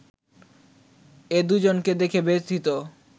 এ দুজনকে দেখে ব্যথিত